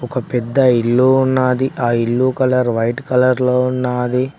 ఒక పెద్ద ఇల్లు ఉన్నాది ఆ ఇల్లు కలర్ వైట్ కలర్ లో ఉన్నాది.